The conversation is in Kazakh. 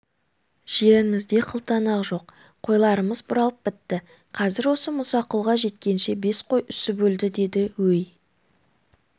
жерімізде қылтанақ жоқ қойларымыз бұралып бітті қазір осы мұсақұлға жеткенше бес қой үсіп өлді деді өй